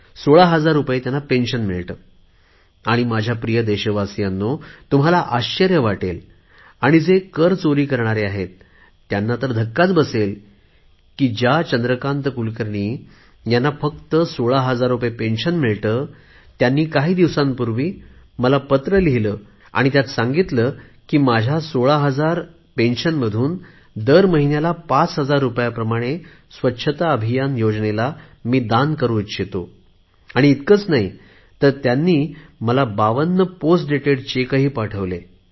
सोळा हजार रुपये त्यांना निवृत्ती वेतन मिळते आणि माझ्या प्रिय देशवासियांनो तुम्हाला आश्चर्य वाटेल आणि जे कर चोरी करणारे आहेत त्यांना तर धक्काच बसेल की ज्या चंद्रकांत कुलकर्णी यांना फक्त 16000 निवृत्ती वेतन मिळते त्यांनी काही दिवसांपूर्वी मला पत्र लिहिले आणि त्यांत सांगितले की मी माझ्या 16000 निवृत्ती वेतनमधून दर महिना पांच हजार रुपये स्वच्छता अभियानाला दान करु इच्छितो आणि इतकेच नाही त्यांनी मला बावन्न चेक बावन्न पोस्ट डेटेड चेक पाठवले